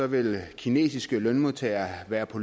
vil kinesiske lønmodtagere være på